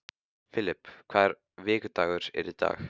Filip, hvaða vikudagur er í dag?